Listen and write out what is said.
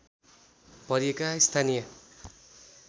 भरिएका स्थानीय